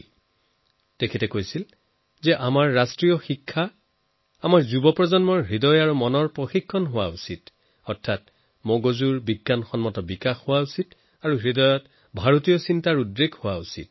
শ্ৰী অৰবিন্দই কৈছিল যে আমাৰ ৰাষ্ট্ৰীয় শিক্ষা আমাৰ যুৱ প্ৰজন্মৰ মন আৰু মগজুৰ ট্ৰেইনিং হোৱা উচিত অৰ্থাৎ মস্তিষ্কৰ বৈজ্ঞানিক বিকাশ হওক আৰু অন্তৰত ভাৰতীয় ভাবনাও হওক